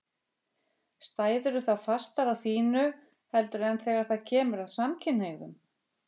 Stæðirðu þá fastar á þínu heldur en þegar það kemur að samkynhneigðum?